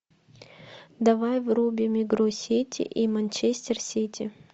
давай врубим игру сити и манчестер сити